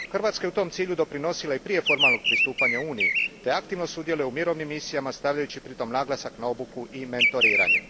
Hrvatska je tom cilju doprinosila i prije formalnog pristupanja Uniji te aktivno sudjeluje u mirovnim misijama stavljajući pritom naglasak na obuku i mentoriranje.